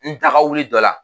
N taga wili dɔ la.